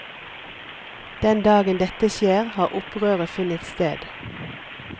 Den dagen dette skjer har opprøret funnet sted.